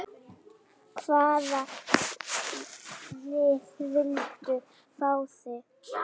Hvaða lið vildu fá þig?